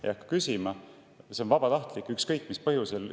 See on vabatahtlik ja ükskõik mis põhjusel.